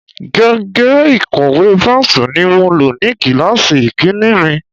Gègé ìkọ̀wé Pẹ́nsù ni mo lò ní kíláàsì ìkínní mi.